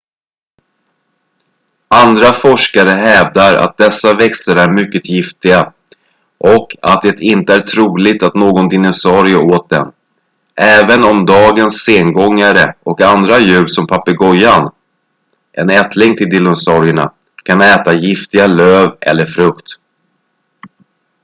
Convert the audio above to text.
andra forskare hävdar att dessa växter är mycket giftiga och att det inte är troligt att någon dinosaurie åt dem även om dagens sengångare och andra djur som papegojan en ättling till dinosaurierna kan äta giftiga löv eller frukt